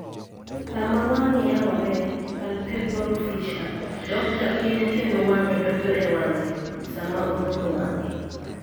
Kama wang'e yaworee (palpebral fissure) dokga piny kendo wang'e donjo e wang'e sama omulo wang'e.